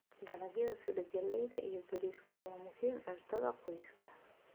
Dalagyada sida galleyda iyo bariiska waa muhiim cuntada qoyska.